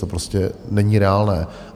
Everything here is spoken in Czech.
To prostě není reálné.